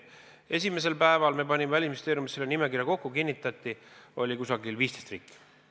Esimesel päeval me panime Välisministeeriumis selle nimekirja kokku, see kinnitati, seal oli umbes 15 riiki.